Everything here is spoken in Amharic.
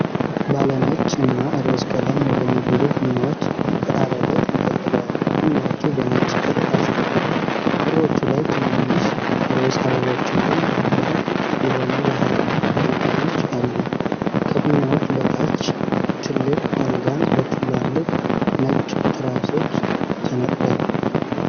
ባለ ነጭ እና ሮዝ ቀለም የሆኑ ብዙ ፊኛዎች ከጣሪያው ላይ ተንጠልጥለዋል። ፊኛዎቹ በነጭ ክር ታስረው፣ ክሮቹ ላይ ትናንሽ ሮዝ አበቦችና ኩርፊያ የሆኑ የሐር ሪባኖች አሉ። ከፊኛዎቹ በታች ትልቅ አልጋ በትላልቅ ነጭ ትራሶች ተነጥፏል።